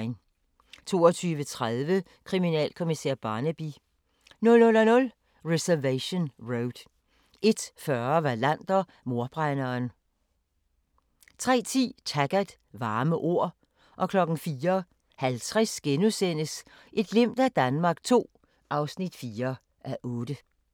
22:30: Kriminalkommissær Barnaby 00:05: Reservation Road 01:40: Wallander: Mordbrænderen 03:10: Taggart: Varme ord 04:50: Et glimt af Danmark II (4:8)*